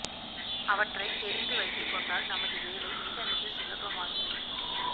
அவற்றை தெரிந்து வைத்து கொண்டால் நமது வேலை மிக மிக சுலபமாகிவிடும்